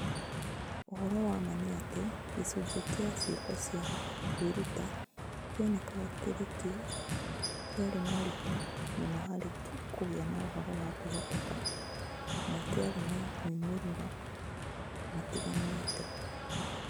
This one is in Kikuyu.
Ũhoro wa ma nĩ atĩ, gĩcunjĩ kĩa "ciĩko cia kwĩruta" kĩonekaga kĩrĩ kĩo kĩarĩ na ũritũ mũno harĩ kũgĩa na ũhoro wa kwĩhokeka na kĩarĩ na moimĩrĩro matiganĩte.